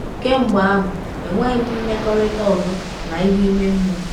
Kemgbe ahụ, enweghị m mmekọrịta ọzọ na ihe ime mmụọ.